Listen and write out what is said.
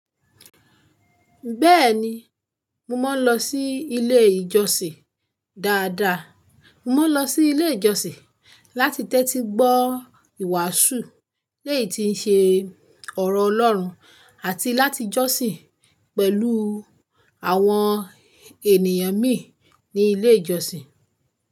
Bẹ́ẹ̀ni, mo máa ń lọ sí ilé ìjọsìn dáadáa. Mo máa ń lọ sí ilé ìjọsìn láti tẹ́tí gbọ́ ìwàásù, léyìn tí ń ṣe ọ̀rọ̀ Ọlọ́run àti láti jọ́sìn pẹ̀lú àwọn ènìyàn mi ní ilé ìjọsìn.